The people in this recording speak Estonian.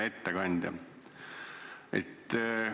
Hea ettekandja!